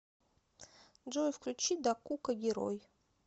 джой включи дакука герой